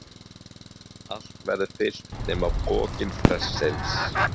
Allt verður fyllt nema pokinn prestsins.